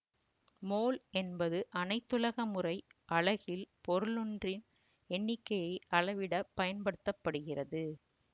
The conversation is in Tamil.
மோல் என்பது அனைத்துலக முறை அலகில் பொருளொன்றின் எண்ணிக்கையை அளவிடப் பயன்படுத்த படுகிறது